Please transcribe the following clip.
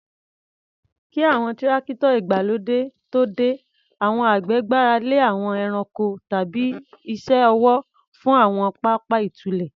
Kí àwọn Tírákítọ̀ ìgbàlódé tó dé, àwọn àgbẹ̀ gbára lé àwọn ẹranko tàbí iṣẹ́ ọwọ́ fún àwọn pápá ìtúlẹ̀.